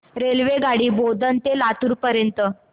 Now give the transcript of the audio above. रेल्वेगाडी बोधन ते लातूर पर्यंत